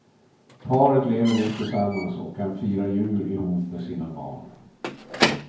Paret lever nu tillsammans och kan fira jul ihop med sina barn.